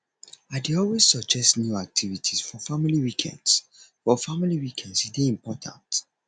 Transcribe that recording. i dey always suggest new activities for family weekends for family weekends e dey important